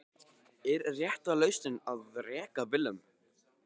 Er rétta lausnin að reka Willum?